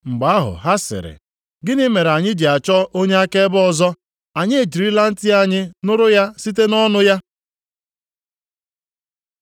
Mgbe ahụ ha sịrị, “Gịnị mere anyị ji na-achọ onye akaebe ọzọ? Anyị ejirila ntị anyị nụrụ ya site nʼọnụ ya.”